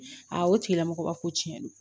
o tigilamɔgɔ ba ko tiɲɛ don